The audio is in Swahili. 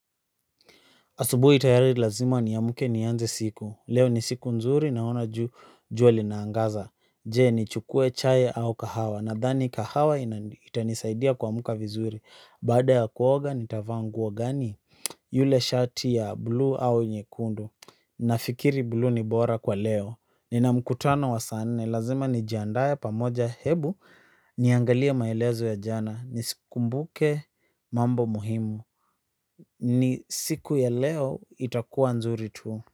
Asubuhi tayari lazima niamke nianze siku. Leo ni siku nzuri naona jua linaangaza. Je, nichukue chai au kahawa? Nadhani kahawa itanisaidia kuamka vizuri. Baada ya kuoga nitavaa nguo gani? Yule shati ya blue au nyekundu. Nafikiri blue ni bora kwa leo ni na mkutano wa saa nne lazima nijiandae pamoja hebu niangalie maelezo ya jana mambo muhimu. Ni siku ya leo itakuwa nzuri tu.